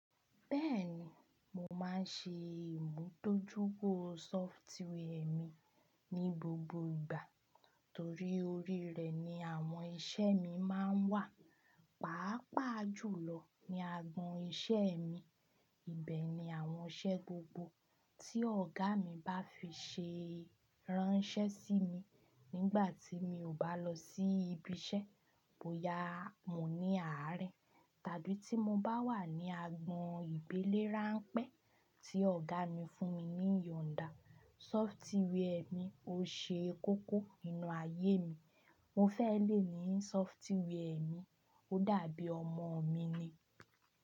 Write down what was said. Bẹ́ẹ̀ni, mo máa ń ṣe ìmùtójú ero sọfitíwea ẹ mi ní gbogbo ìgbà torí orí rẹ̀ ni àwọn iṣẹ́ mi máa ń wà, pàápàá jùlọ ní agbọn iṣẹ́ mi. Ibẹ̀ ni àwọn iṣẹ́ gbogbo tí ọ̀gá mi bá fi ṣe ránṣẹ́ sí mi nígbà tí mi ò bá lọ sí ibi iṣẹ́ bóyá mo ní àárín, tàbí tí mo bá wà ní agbọn ìbílẹ̀ ránpẹ́ tí ọ̀gá mi fún mi ní Yòǹdà. Sọfitíwẹa mi ò ṣe kókó nínú ayé mi, mo fẹ́ lè ní sọfitíwea mi, ó dàbí ọmọ mi ni.